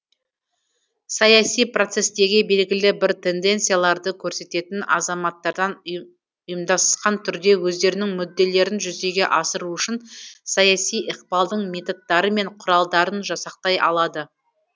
саяси процестегі белгілі бір тенденцияларды көрсететін азаматтардан ұйымдасқан түрде өздерінің мүдделерін жүзеге асыру үшін саяси ықпалдың методтары мен құралдарын жасақтай алады